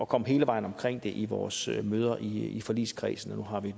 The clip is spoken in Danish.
komme hele vejen omkring det i vores møder i i forligskredsen og nu har vi